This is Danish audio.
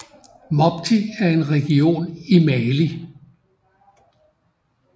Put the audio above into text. Mopti er en region i Mali